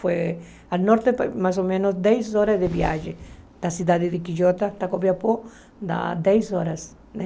Foi a norte, mais ou menos, dez horas de viagem da cidade de Quijota para Copiapó, dá dez horas, né?